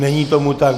Není tomu tak.